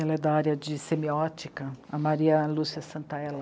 Ela é da área de semiótica, a Maria Lúcia Santaella.